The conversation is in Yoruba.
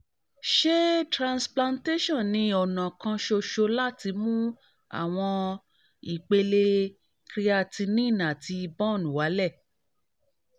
ṣé transplantation ni ọ̀nà kan ṣoṣo láti mú àwọn ìpele creatinine àti bun wálẹ̀?